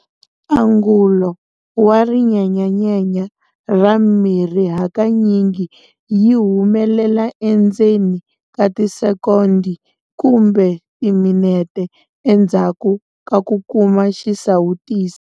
Angulo wa rin enyanyenya ra mirhi hakanyingi yi humelela endzeni ka tisekondi kumbe timinete endzhaku ka ku kuma xisawutisi.